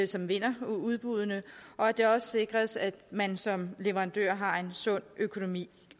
som vinder udbuddene og at det også sikres at man som leverandør har en sund økonomi